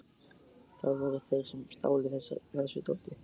Það voru þeir sem stálu þessu dóti.